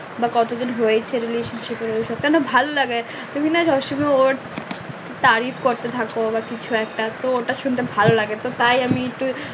বা কত দিন হয়েছে relationship মানে ভাল্লাগে তারিফ করতে থাকো বা কিছু একটা তো ওটা শুনতে ভাল্লাগে তো তাই আমি একটু